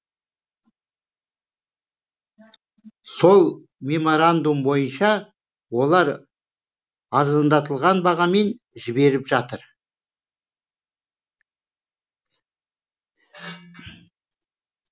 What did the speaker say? сол меморандум бойынша олар арзандатылған бағамен жіберіп жатыр